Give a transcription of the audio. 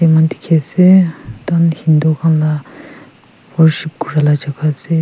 dikhi asey hindu ghor la worship kura la jaga asey.